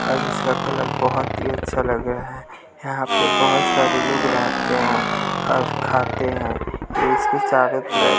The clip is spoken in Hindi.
आज इसका कलर बहुत ही अच्छा लग रहा है यहां पे बहुत सारे लोग रहते हैं और खाते हैं इसके चारों तरफ--